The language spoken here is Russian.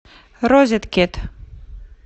розеткед